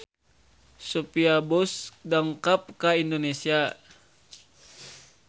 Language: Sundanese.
Sophia Bush dongkap ka Indonesia